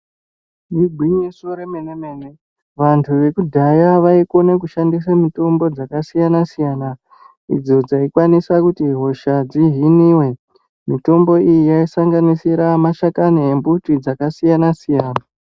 igwinyiso remene-mene vantu vekudhaya vaishandisa mitombo dzakasiyana-siyana idzo dzaikwanisa kuti hosha dzihiniwe. Mitombo iyi yaisanganisira mashakani embuti dzakasiyana siyana.